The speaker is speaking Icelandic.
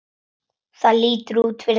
Það lítur út fyrir það